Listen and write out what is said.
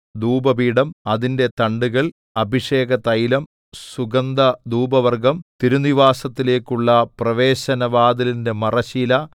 ധൂപപീഠം അതിന്റെ തണ്ടുകൾ അഭിഷേകതൈലം സുഗന്ധധൂപവർഗ്ഗം തിരുനിവാസത്തിലേക്കുള്ള പ്രവേശന വാതിലിന്റെ മറശ്ശീല